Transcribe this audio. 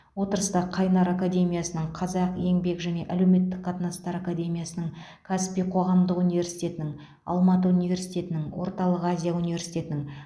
отырыста қайнар академиясының қазақ еңбек және әлеуметтік қатынастар академиясының каспий қоғамдық университетінің алматы университетінің орталық азия университетінің